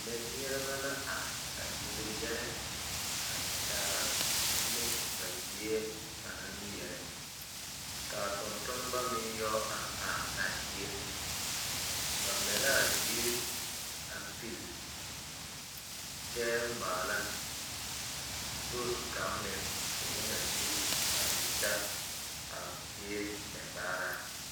Mɛmeɛrɛbɛ la are a yele yɛlɛ a kyaara ne ba zie ba naŋ meɛrɛ ka a tontonema meŋ yɛ are are a zie ba mɛ la a ziiri a pilli kyɛ maala sori kaŋ meŋ k,o na sige a te ta a zie mɛbaaraa.